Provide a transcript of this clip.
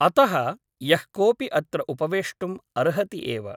अतः यः कोऽपि अत्र उपवेष्टुम् अर्हति एव ।